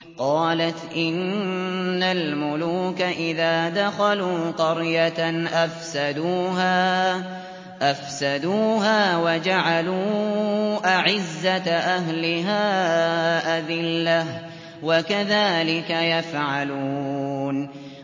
قَالَتْ إِنَّ الْمُلُوكَ إِذَا دَخَلُوا قَرْيَةً أَفْسَدُوهَا وَجَعَلُوا أَعِزَّةَ أَهْلِهَا أَذِلَّةً ۖ وَكَذَٰلِكَ يَفْعَلُونَ